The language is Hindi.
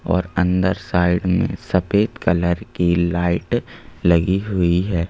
और अंदर साइड में सफेद कलर की लाइट लगी हुई है।